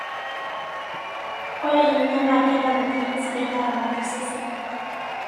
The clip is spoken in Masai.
Ore ninye naa keeta ntokitin sidaain naaramat osesen.